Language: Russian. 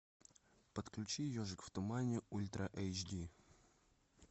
подключи ежик в тумане ультра эйч ди